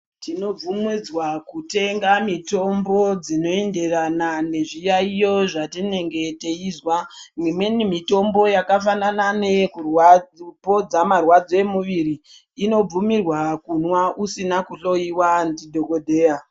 Tinobvumidzwa kutenga mitombo dzinoenderana nezviyaiyo zvatinenge teizwa. Imweni mitombo yakafanana neyekupodza marwadzo emuviri inobvumirwa kumwa usina kuhloyiwa ndidhokodheya.